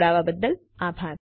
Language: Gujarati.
જોડાવા બદ્દલ આભાર